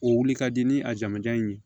O wuli ka di ni a jamujan in ye